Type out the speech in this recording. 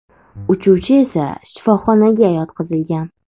Uchuvchi esa shifoxonaga yotqizilgan.